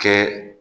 Kɛ